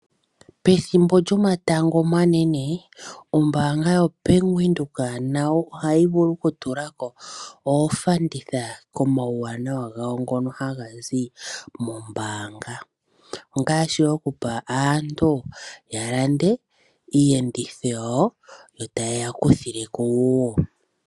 Pethimbo lyomatango omanene ombaanga yaVenduka nayo ohayi vulu oku tulako opfanditha komawuwanawa gayo ngono hagazi moombanga. Iiyenditho yayo yotaya yeya kuthileko